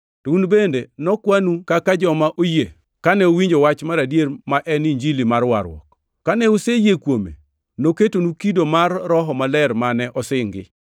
To un bende nokwanu kaka joma oyie kane uwinjo wach mar adier ma en Injili mar warruok. Kane useyie kuome noketonu kido mar Roho Maler mane osingi,